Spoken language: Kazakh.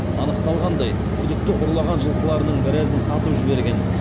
анықталғандай күдікті ұрлаған жылқыларының біразын сатып жіберген